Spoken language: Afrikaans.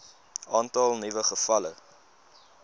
aantal nuwe gevalle